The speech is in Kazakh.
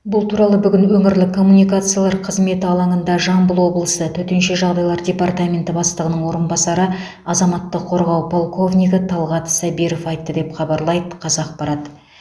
бұл туралы бүгін өңірлік коммуникациялар қызметі алаңында жамбыл облысы төтенше жағдайлар департаменті бастығының орынбасары азаматтық қорғау полковнигі талғат сабиров айтты деп хабарлайды қазақпарат